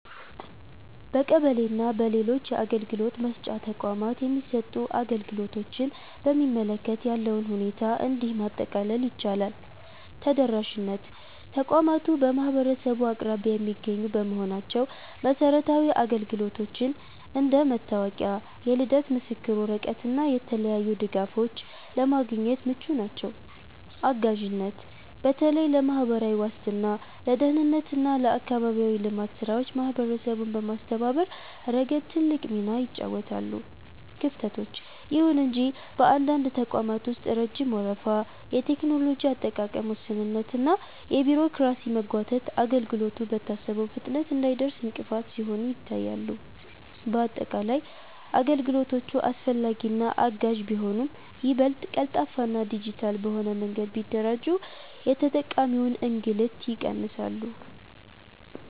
በቀበሌ እና በሌሎች የአገልግሎት መስጫ ተቋማት የሚሰጡ አገልግሎቶችን በሚመለከት ያለውን ሁኔታ እንዲህ ማጠቃለል ይቻላል፦ ተደራሽነት፦ ተቋማቱ በማህበረሰቡ አቅራቢያ የሚገኙ በመሆናቸው መሰረታዊ አገልግሎቶችን (እንደ መታወቂያ፣ የልደት ምስክር ወረቀት እና የተለያዩ ድጋፎች) ለማግኘት ምቹ ናቸው። አጋዥነት፦ በተለይ ለማህበራዊ ዋስትና፣ ለደህንነት እና ለአካባቢያዊ ልማት ስራዎች ማህበረሰቡን በማስተባበር ረገድ ትልቅ ሚና ይጫወታሉ። ክፍተቶች፦ ይሁን እንጂ በአንዳንድ ተቋማት ውስጥ ረጅም ወረፋ፣ የቴክኖሎጂ አጠቃቀም ውስንነት እና የቢሮክራሲ መጓተት አገልግሎቱ በታሰበው ፍጥነት እንዳይደርስ እንቅፋት ሲሆኑ ይታያሉ። ባጠቃላይ፣ አገልግሎቶቹ አስፈላጊና አጋዥ ቢሆኑም፣ ይበልጥ ቀልጣፋና ዲጂታል በሆነ መንገድ ቢደራጁ የተጠቃሚውን እንግልት ይቀንሳሉ።